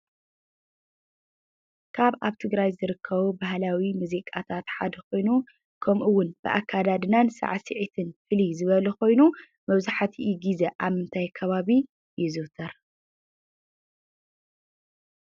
ካብ ኣብ ትግራይ ዝርከቡ ባህላዊ ሙዚቃታት ሓደ ኮይኑ ከምኡ እውን ኣከዳድናን ሳዕሲዒትን ፍልይ ዝበሉ ኮይኑ መብዛሕቲኡ ግዜ ኣብ ምንታይ ከባቢ ይዝውተር?